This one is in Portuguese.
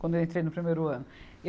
quando eu entrei no primeiro ano.